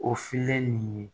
O filen nun ye